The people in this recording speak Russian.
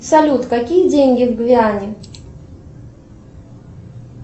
салют какие деньги в гвиане